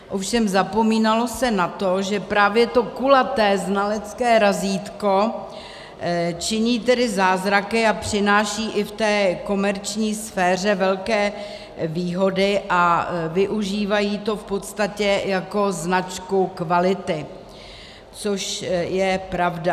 Ovšem zapomínalo se na to, že právě to kulaté znalecké razítko činí tedy zázraky a přináší i v té komerční sféře velké výhody a využívají to v podstatě jako značku kvality, což je pravda.